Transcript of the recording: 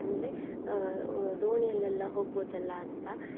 ಅಂದ್ರೆ ಅಹ್ ಅಹ್ ದೋಣಿಯಲ್ಲೆಲ್ಲ ಹೋಗ್ಬೋದಲ್ಲ ಅಂತ.